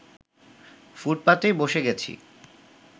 ফুটপাতেই বসে গেছি